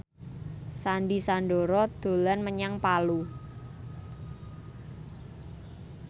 Sandy Sandoro dolan menyang Palu